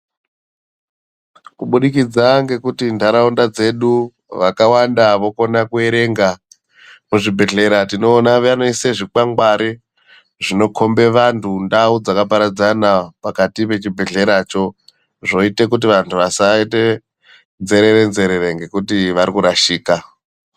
Kubudikidza ngekuti ntaraunda dzedu vakawanda vokone kuerenga. Muzvibhedhlera tinoona vanoise zvikwangwari zvinokhombe vantu ndau dzakaparadzana pakati pechibhedhleracho. Zvoite kuti vantu vasaite nzerere nzerere ngekuti vari kurashika.